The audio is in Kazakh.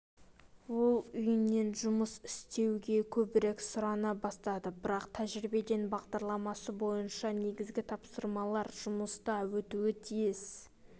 ол үйінен жұмыс істеуге көбірек сұрана бастады бірақ тәжірибе бағдарламасы бойынша негізгі тапсырмалар жұмыста өтуі тиіс